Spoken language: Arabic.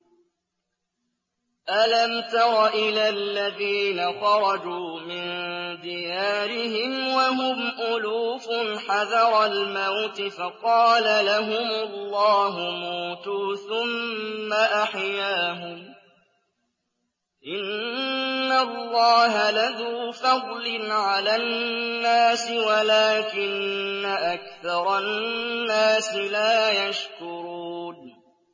۞ أَلَمْ تَرَ إِلَى الَّذِينَ خَرَجُوا مِن دِيَارِهِمْ وَهُمْ أُلُوفٌ حَذَرَ الْمَوْتِ فَقَالَ لَهُمُ اللَّهُ مُوتُوا ثُمَّ أَحْيَاهُمْ ۚ إِنَّ اللَّهَ لَذُو فَضْلٍ عَلَى النَّاسِ وَلَٰكِنَّ أَكْثَرَ النَّاسِ لَا يَشْكُرُونَ